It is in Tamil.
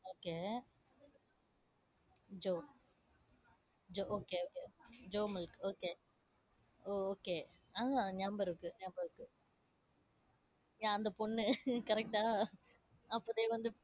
okay jo jo okay okay o~ jo milk okay ஓ okay ஆஹ் ஞாபகம் இருக்கு ஞாபகம் இருக்கு யா அந்த பொண்ணு correct ஆ அப்போதே வந்து